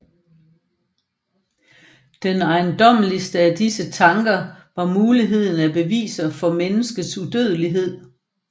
Den ejendommeligste af disse er Tanker over Muligheden af Beviser for Menneskets Udødelighed